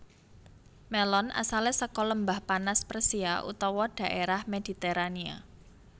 Mélon asalé saka Lembah Panas Persia utawa dhaérah Mediterania